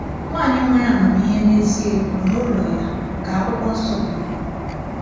“Nwanyị nwere amamihe n’ezie wuru ụlọ ya,” ka Akwụkwọ Nsọ kwuru.